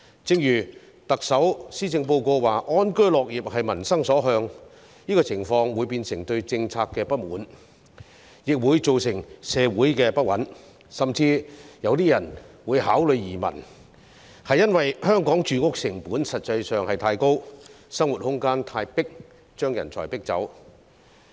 正如特首在施政報告中指出，安居樂業是民心所向，這個情況會變成對政策的不滿，亦會造成社會不穩，甚至有些人會考慮移民，因為香港的住屋成本實在太高，生活空間太狹窄，把人才逼走。